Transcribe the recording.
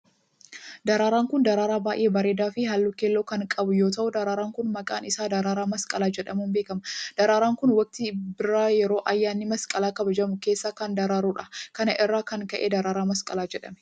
Daraaraan kun daraaraa baay'ee bareedaa fi haalluu keelloo kan qabu yoo ta'u, daraaraan kun maqaan isaa daraaraa masqalaa jedhamuun beekama. Daraaraan kun, waqtii birraa yeroo ayyaanni Masqalaa kabajamu keessa kan daraaru dha. Kana irraa kan ka'e, daraaraa masqalaa jedhame.